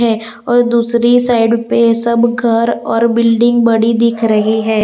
और दूसरी साइड पे सब घर और बिल्डिंग बड़ी दिख रही है।